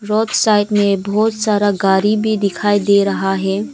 Road side में बहुत सारा गाड़ी भी दिखाई दे रहा है।